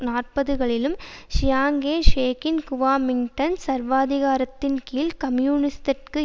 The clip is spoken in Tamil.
நாற்பதுகளிலும் சியாங்கே ஷேக்கின் குவோமிங்டாங் சர்வாதிகாரத்தின் கீழ் கம்யூனிசத்திற்கு